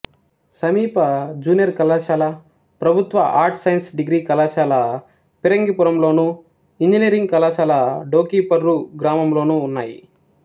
సమీప జూనియర్ కళాశాల ప్రభుత్వ ఆర్ట్స్ సైన్స్ డిగ్రీ కళాశాల ఫిరంగిపురంలోను ఇంజనీరింగ్ కళాశాల డోకిపర్రు గ్రామం లోనూ ఉన్నాయి